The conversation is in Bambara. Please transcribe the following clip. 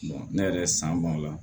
ne yɛrɛ san b'o la